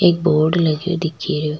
एक बोर्ड लगयो दिखे रियो।